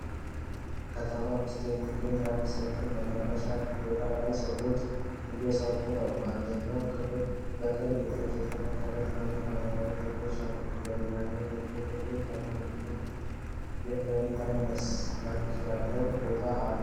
ከተማ ውስጥ በሚገኝ አንድ ሰፊ መናፈሻ ቦታ ላይ ሰዎች እየሠሩ ነው። በአንደኛው ክፍል በቅርብ የተተከሉ ትናንሽ አረንጓዴ ተክሎች አሉ። በሌላኛው ደግሞ ጥቁር ቀለም ያለው የእርከን መልክ ያለው ቦታ አለ።